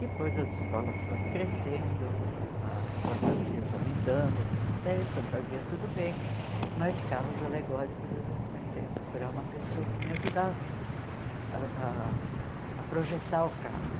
Depois as escolas foram crescendo, as fantasias aumentando, até fantasia tudo bem, mas carros alegóricos eu já comecei a procurar uma pessoa que me ajudasse ah ah a projetar o carro.